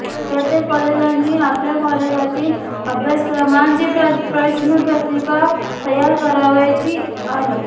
प्रत्येक कॉलेजांनी आपल्या कॉलेजातील अभ्यासक्रमांची प्रश्नपत्रिका तयार करावयाची आहे